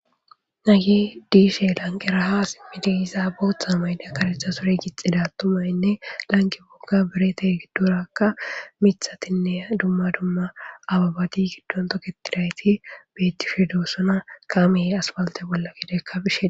Hagey deyshay lanqera ha simidi yiza bootha mayida karetha sure gixida atumayinne lanqwkoka birata gidoraka mithatinne dumma dumma abebati gidon toketidayt betishe dosona , kaamey asphalte bolla gedeka bishe Desi.